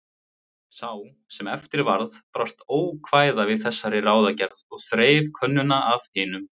Sá sem eftir varð brást ókvæða við þessari ráðagerð og þreif könnuna af hinum.